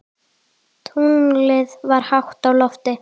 Tunglið var hátt á lofti.